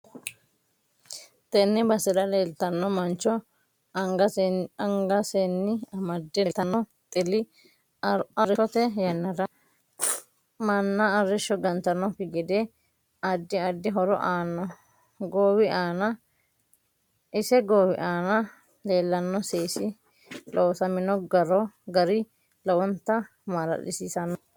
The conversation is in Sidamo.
Tenne basera leeltanno mancho anngaseni amdde leeltano xili arosote yannara manna arisho gantanoki gede addi addi horo aano iae goowi aana leelanno seesi loosamino garo lowonta malalisiisanno